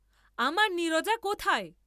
আমার নীরজা কোথায়?